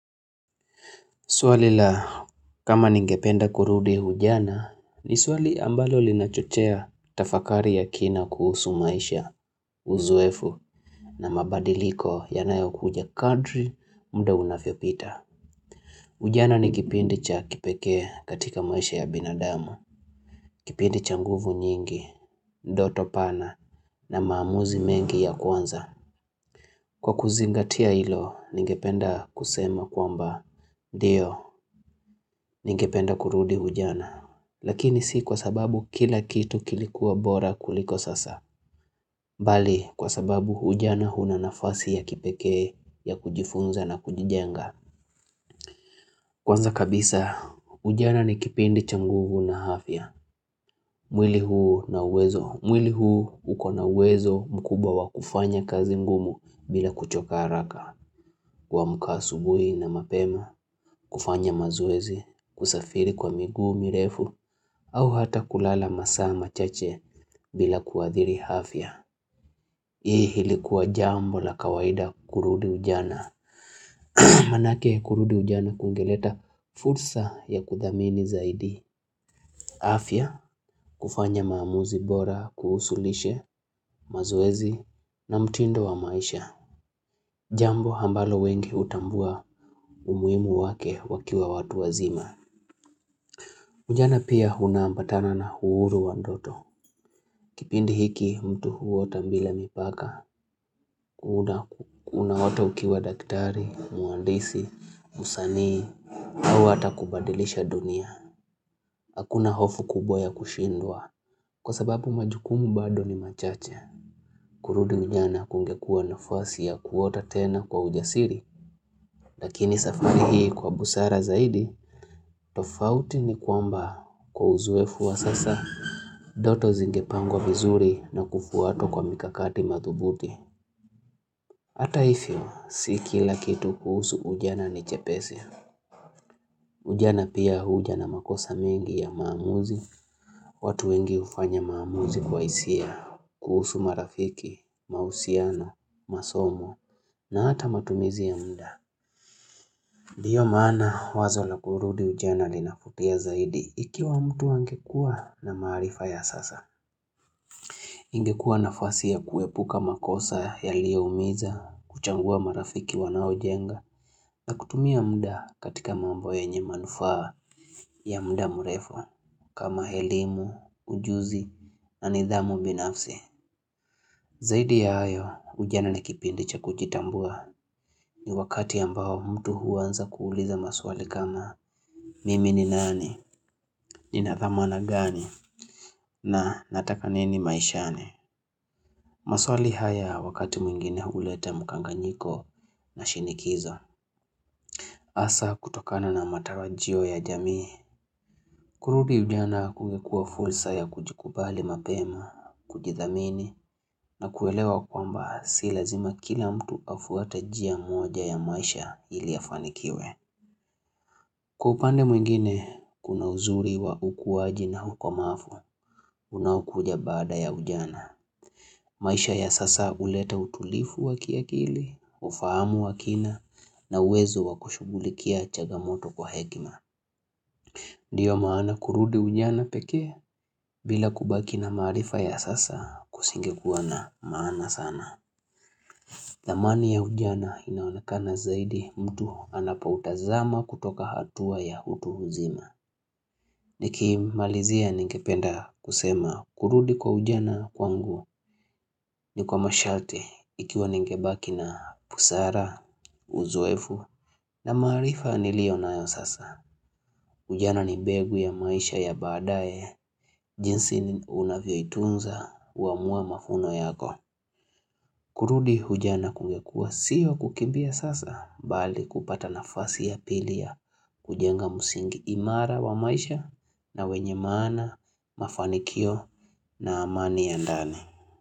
Swalila kama ningependa kurudi ujana ni swali ambalo linachochea tafakari ya kina kuhusu maisha, uzoefu na mabadiliko yanayo kuja kadri mda unafyo pita. Ujana ni kipindi cha kipekee katika maisha ya binadamu. Kipindi cha nguvu nyingi, ndoto pana na maamuzi mengi ya kwanza. Kwa kuzingatia ilo ningependa kusema kwamba ndio ningependa kurudi ujana. Lakini si kwa sababu kila kitu kilikuwa bora kuliko sasa Bali kwa sababu ujana huna nafasi ya kipekee ya kujifunza na kujijenga Kwanza kabisa ujana ni kipindi changuvu na afya mwili huu na uwezo mwili huu uko na uwezo mkubwa kufanya kazi ngumu bila kuchoka haraka kuamka asubui na mapema kufanya mazoezi kusafiri kwa miguu mirefu au hata kulala masaa ma chache bila kuadhiri afya. Hii hili kuwa jambo la kawaida kurudi ujana. Manake kurudi ujana kungeleta fursa ya kudhamini zaidi. Afya kufanya maamuzi bora kuhusulishe mazoezi na mtindo wa maisha. Jambo hambalo wengi utambua umuimu wake wakiwa watu wazima. Ujana pia huna ambatana na uhuru wandoto. Kipindi hiki mtu huota mbila mipaka, unahota ukiwa daktari, muandisi, musanii, au hata kubadilisha dunia. Hakuna hofu kubwa ya kushindwa. Kwa sababu majukumu bado ni machache, kurudi ujana kungekuwa nafasi ya kuota tena kwa ujasiri. Lakini safari hii kwa busara zaidi, tofauti ni kwamba kwa uzoefu wa sasa. Doto zingepangwa vizuri na kufuatwa kwa mikakati madhubuti Ata ifyo, sikila kitu kuhusu ujana ni chepesi Ujana pia huja na makosa mengi ya maamuzi watu wengi ufanya maamuzi kwa isia kuhusu marafiki, mausiano, masomo na hata matumizi ya muda Diyo mana wazo lakurudi ujana linafutia zaidi Ikiwa mtu angekua na maarifa ya sasa ingekua nafasi ya kuepuka makosa yaliyoumiza kuchangua marafiki wanao jenga na kutumia muda katika mambo yenye manufaa ya muda mrefu kama elimu, ujuzi na nidhamu binafsi. Zaidi ya hayo ujana na kipindi cha kujitambua ni wakati ambao mtu huanza kuuliza maswali kama mimi ni nani ni nadhamana gani na nataka nini maishani. Maswali haya wakati mwingine uleta mkanganyiko na shinikizo. Asa kutokana na matarajio ya jamii. Kurudi ujana kungekuwa fulsa ya kujikubali mapema, kujithamini na kuelewa kwamba silazima kila mtu afuate jia moja ya maisha iliafanikiwe. Kwa upande mwingine kuna uzuri wa ukuwaji na ukomaafu. Unaokuja baada ya ujana. Maisha ya sasa uleta utulifu wakia kili, ufahamu wakina na uwezo wakushugulikia chagamoto kwa hekima. Ndiyo maana kurudi ujana pekee bila kubaki na maarifa ya sasa kusingekuwa na maana sana. Thamani ya ujana inaonekana zaidi mtu anapoutazama kutoka hatua ya utu uzima. Niki malizia ningependa kusema kurudi kwa ujana kwangu ni kwa masharti ikiwa ningebaki na busara, uzoefu na maarifa nilio nayo sasa. Ujana ni begu ya maisha ya baadae jinsi unavyo itunza uamua mafuno yako. Kurudi ujana kungekuwa sio kukimbia sasa bali kupata nafasi ya pili ya kujenga msingi imara wa maisha na wenye maana mafanikio na amani ya ndani.